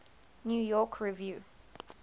new york review